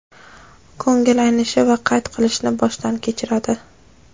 ko‘ngil aynishi va qayt qilishni boshdan kechiradi.